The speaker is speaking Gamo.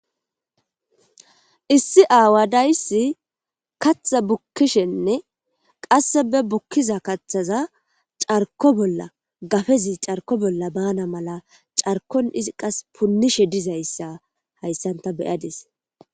Issi aawa dayssi kaththa bukkishenne qasse be bukkiza kaththaza carkko bolla gafezi carkko bolla baana mala carkon izi qasse punishe dizayssa hayssan tani be'adis.